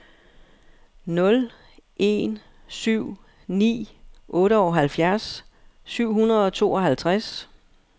nul en syv ni otteoghalvfjerds syv hundrede og tooghalvtreds